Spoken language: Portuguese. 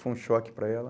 Foi um choque para ela.